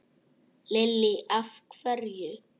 Lillý: Af hverju?